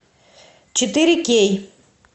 четыре кей